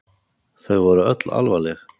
Þau voru öll alvarleg.